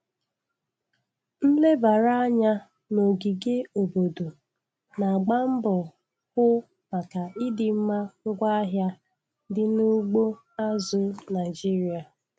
Nlebara anya n'ogige obodo na-agba mbọ hụ maka ịdịmma ngwaahịa dị na ugbo azụ̀ Naịjiria.